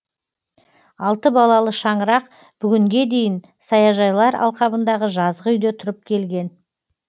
алты балалы шаңырақ бүгінге дейін саяжайлар алқабындағы жазғы үйде тұрып келген